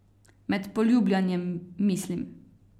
Med poljubljanjem, mislim.